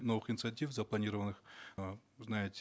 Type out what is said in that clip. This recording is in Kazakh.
новых инициатив запланированных э знаете